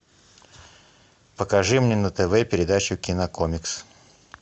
покажи мне на тв передачу кинокомикс